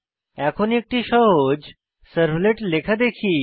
এখন একটি সহজ সার্ভলেট লেখা দেখি